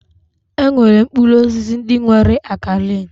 E nwere mkpụrụ osisi ndị nwere akalain.